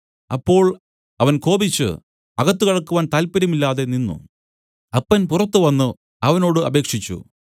അപ്പോൾ അവൻ കോപിച്ചു അകത്ത് കടക്കുവാൻ താത്പര്യം ഇല്ലാതെ നിന്നു അപ്പൻ പുറത്തു വന്നു അവനോട് അപേക്ഷിച്ചു